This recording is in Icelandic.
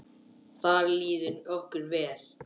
Þar líður okkur vel.